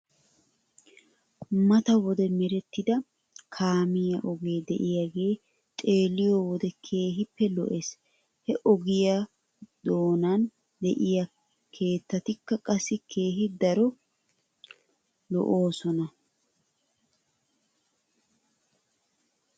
Mata wode merettida kaamiyaa ogee de'iyaagee xeeliyoo wode keehippe lo'es. He ogiyaa ddonan de'iyaa keettatikka qassi keehi daro lo'oosona .